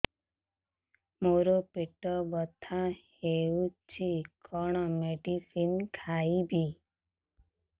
ମୋର ପେଟ ବ୍ୟଥା ହଉଚି କଣ ମେଡିସିନ ଖାଇବି